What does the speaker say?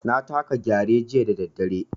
Na taka Gyare jiya da daddare.